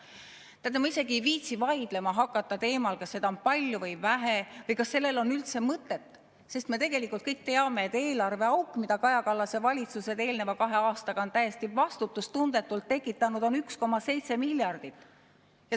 Teate, ma isegi ei viitsi vaidlema hakata teemal, kas seda on palju või vähe või kas sellel on üldse mõtet, sest me kõik teame, et eelarveauk, mida Kaja Kallase valitsused eelneva kahe aastaga on täiesti vastutustundetult tekitanud, on 1,7 miljardit.